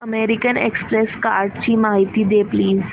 American Express कार्डची माहिती दे प्लीज